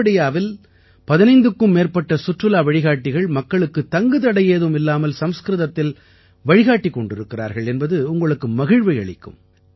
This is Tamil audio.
கேவடியாவில் 15க்கும் மேற்பட்ட சுற்றுலா வழிகாட்டிகள் மக்களுக்கு தங்கு தடையேதும் இல்லாமல் சம்ஸ்கிருதத்தில் வழிகாட்டிக் கொண்டிருக்கிறார்கள் என்பது உங்களுக்கு மகிழ்வை அளிக்கும்